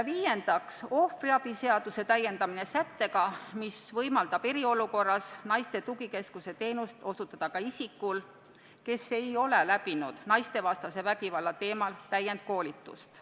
Viiendaks, ohvriabi seaduse täiendamine sättega, mis võimaldab eriolukorras osutada naiste tugikeskuse teenust ka isikul, kes ei ole läbinud naistevastase vägivalla teemalist täienduskoolitust.